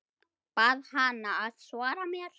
Bað hana að svara mér.